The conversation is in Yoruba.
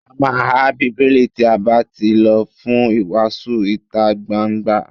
A má há Bíbélì tí a bá tí lọ fún ìwàásù ìtagbangba.